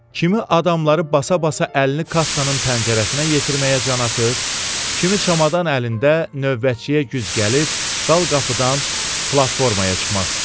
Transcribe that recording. Kimi adamları basa-basa əlini kassanın pəncərəsinə yetirməyə can atır, kimi çamadan əlində növbətçiyə güc gəlib dal qapıdan platformaya çıxmaq istəyirdi.